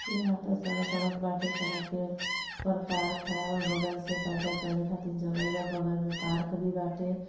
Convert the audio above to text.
यहां पर सारा सड़क बाटे सड़क के प्रकार खराब बगल से पैदल चले खातिर जगह बा गाल में पार्क भी बाटे--